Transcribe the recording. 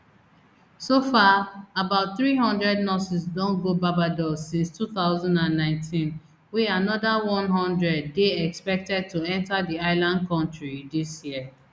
so far about three hundred nurses don go barbados since two thousand and nineteen wey anoda one hundred dey expected to enta di island kontri dis year